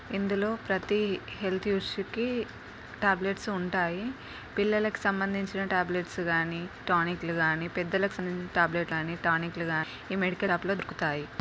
ఇందులో ప్రతి health issue కి టాబ్లెట్స్ ఉంటాయి. పిల్లలకు సంబంధించిన టాబ్లెట్స్ గాని టానిక్ లు కానీ పెద్దలకు సంబంధించిన టాబ్లెట్ లు కానీ టానిక్ లు గాని ఈ మెడికల్ షాప్ లో దొరుకుతాయి.